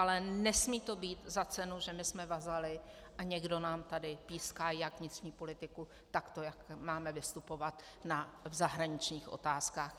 Ale nesmí to být za cenu, že my jsme vazaly a někdo nám tady píská jak vnitřní politiku, tak to, jak máme vystupovat v zahraničních otázkách.